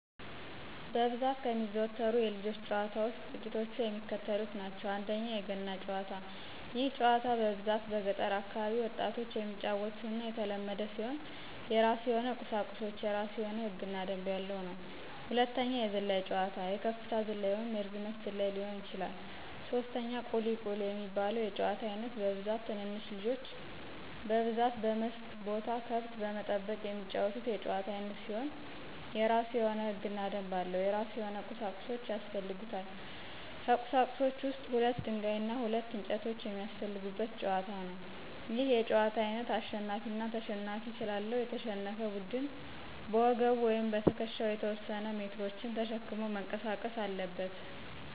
በብዛት ከሚዘወተሩት የልጆች ጨዋታ ውስጥ ጥቂቶቹ የሚከተሉት ናቸው፦ ፩) የገና ጨዋታ፦ ይህ ጨዋታ በብዛት በገጠር አካባቢ ወጣቶች የሚጫወቱትና የተለመደ ሲሆን የራሱ የሆነ ቁሳቁሶች፤ የራሱ የሆነ ህግ እና ደንብ ያለው ነው። ፪) የዝላይ ጨዋታ፦ የከፍታ ዝላይ ወይንም የርዝመት ዝላይ ሊሆን ይችላል። ፫) ቁሊ፦ ቁሊ የሚባለው የጨዋታ አይነት በብዛት ትንንሽ ልጆች በብዛት በመስክ ቦታ ከብት በመጠበቅ የሚጫወቱት የጨዋታ አይነት ሲሆን የራሱ የሆነ ህግና ደንብ አለው። የራሱ የሆነ ቁሳቁሶች ያሰፈልጉታል። ከቁሳቁሶች ውስጥ ሁለት ደንጋይ እና ሁለት እንጨቶች የሚያሰፈልጉት ጨዋታ ነው። ይህ የጨዋታ አይነት አሸናፊ አና ተሸናፊ ስላለው፤ የተሸነፈ ቡድን በወገቡ ወይም በትክሻው የተወሰነ ሜትሮችን ተሸክሞ መንቀሳቀስ አለበት።